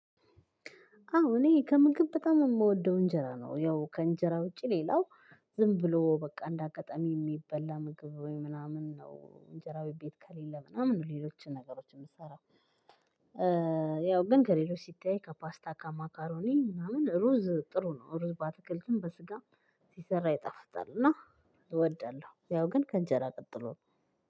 አዎ እኔ ከምግብ በጣም የምወደው እንጀራ ነው ያው ከእንጀራ ውጪ ሌላው ዝም ብሎ በቃ እንዳጋጠሚ የሚበላ ምግብ ወይ ምናምን ነው እንጀራ ቤት ከሌለ ምናምን ነው ሌሎችን ነገሮች የምሰራው። ያው ግን ከሌሎች ሲታይ ከፓስታ ከማካሮኒ ምናምን ሩዝ ጥሩ ነው ሩዝ ባትክልትም በስጋም ሲሰራ ይጠፍጣል እና እወዳለሁ። ያው ግን ከእንጀራ ቀጥሎ